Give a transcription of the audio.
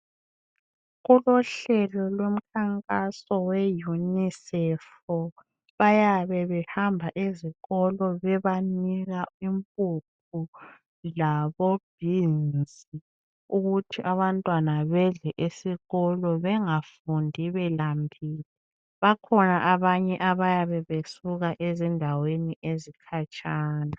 Kulohlelo lomkhankaso we yunisefu bayabe behamba ezikolo bebanika impuphu labo beans ukuthi abantwana bedle esikolo bengafundi belambile bakhona abanye abayabe besuka ezindaweni ezikhatshana